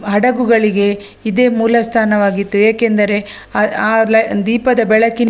ಹಡಗುಗಳಿಗೆ ಇದೇ ಮೂಲಸ್ಥಾನವಾಗಿತ್ತು ಏಕೆಂದರೆ ಆ ಅ ದೀಪದ ಬೆಳಕಿನ --